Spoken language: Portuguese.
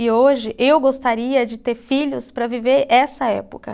E hoje, eu gostaria de ter filhos para viver essa época.